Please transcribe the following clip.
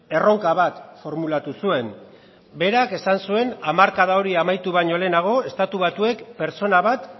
erronka bat formulatu zuen berak esan zuen hamarkada hori amaitu baino lehenago estatu batuek pertsona bat